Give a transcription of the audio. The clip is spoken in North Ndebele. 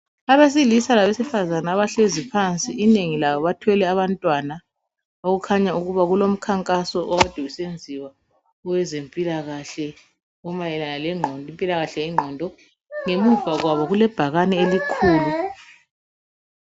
Abesilisa labesifazane abahlezi phansi, inengi labo bathwele abantwana okukhanya uuba kulomkhankaso okade usenziwa owezempilakahle omayelana lengqondo. Ngemuva kwabo kulebhakane elikhulu.